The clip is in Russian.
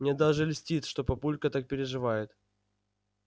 мне даже льстит что папулька так переживает